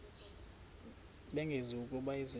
bengazi ukuba izenzo